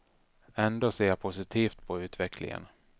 Ändå ser jag positivt på utvecklingen.